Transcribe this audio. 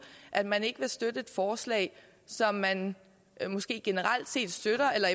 at man ikke vil støtte et forslag som man måske generelt set støtter eller